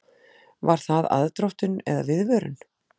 Var það aðdróttun eða viðvörun?